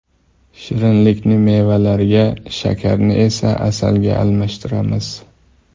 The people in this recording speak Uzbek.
Shirinlikni mevalarga, shakarni esa asalga almashtiramiz.